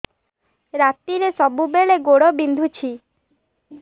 ରାତିରେ ସବୁବେଳେ ଗୋଡ ବିନ୍ଧୁଛି